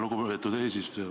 Lugupeetud eesistuja!